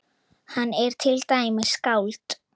Hann er til dæmis skáld.